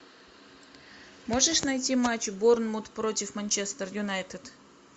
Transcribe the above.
можешь найти матч борнмут против манчестер юнайтед